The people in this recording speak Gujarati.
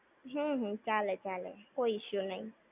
હું. હું. ચાલે ચાલે. કોઈ issue નઈ.